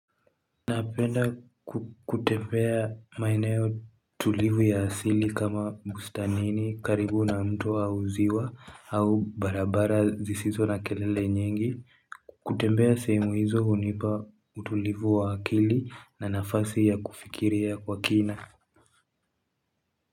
Napenda kutembea maeneo tulivu ya asili kama bustanini, karibu na mto au uziwa, au barabara sisizo na kelele nyingi, kutembea sehemu hizo hunipa utulivu wa akili na nafasi ya kufikiria kwa kina.